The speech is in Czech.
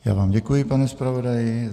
Já vám děkuji, pane zpravodaji.